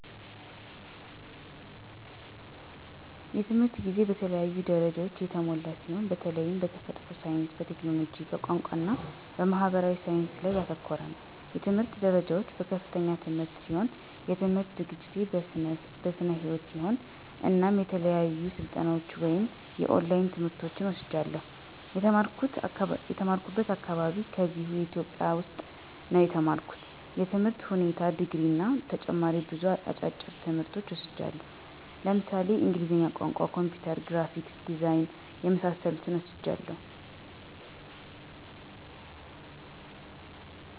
የትምህርት ጊዜ በተለያዩ ደረጃዎች የተሞላ ሲሆን በተላይም በተፈጥሮ ሳይንስ፣ በቴክኖሎጂ፣ በቋንቋ እና በማህበራዊ ሳይንስ ላይ ያተኮረ ነው። የትምህርት ደረጃዎች፦ በከፍተኛ ትምህርት ሲሆን የትምህርት ዝግጅቴን በስነ ህይወት ሲሆን እናም የተለያዩ ስልጠናዎች ወይም የኦላይን ትምህርቶችን ወስጃለሁ። የተማራኩበት አካባቢ ከዚህው ኢትዮጵያ ውስጥ ነው የተማርኩት የትምህር ሁኔታ ድግሪ እና ተጨማሪ ብዙ አጫጭር ትምህርቶች ወስጃለሁ ለምሳሌ እንግሊዝኛ ቋንቋ፣ ኮምፒውተር፣ ግራፊክስ ዲዛይን የመሳሰሉትን ወስጃለሁ።